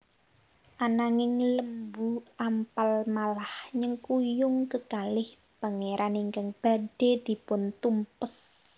Ananging Lembu Ampal malah nyengkuyung kekalih pangeran ingkang badhe dipuntumpes